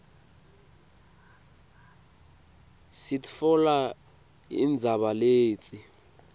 sitfola indzaba letsi